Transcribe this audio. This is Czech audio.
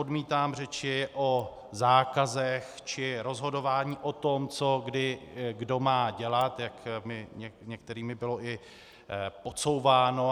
Odmítám řeči o zákazech či rozhodování o tom, co kdy kdo má dělat, jak mi některými bylo i podsouváno.